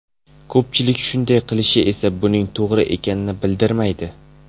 Ko‘pchilik shunday qilishi esa buning to‘g‘ri ekanini bildirmaydi.